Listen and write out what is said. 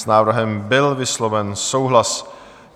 S návrhem byl vysloven souhlas.